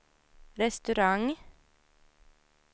restaurang